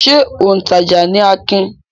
Ṣé òǹtajà ni Akin?